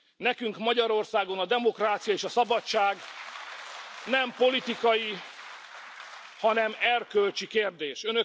Nekünk Magyarországon a demokrácia és a szabadság nem politikai, hanem erkölcsi kérdés.